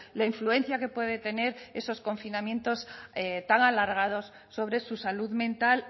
la influencia que puede tener esos confinamientos tan alargados sobre su salud mental